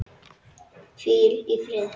Hvíl í friði, elsku Kittý.